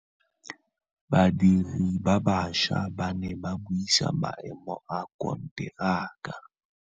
Badiri ba baša ba ne ba buisa maêmô a konteraka.